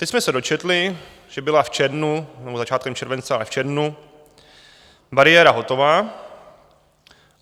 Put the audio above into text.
Teď jsme se dočetli, že byla v červnu, nebo začátkem července a v červnu, bariéra hotová.